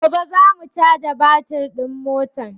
Gobe za mu caja batir din motar